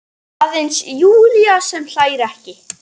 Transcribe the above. Aðeins Júlía sem hlær ekki.